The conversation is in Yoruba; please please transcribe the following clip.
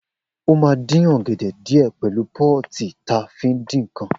O má din ọgẹdẹ diẹ pẹlu pọ́tì ta fiń dikàn.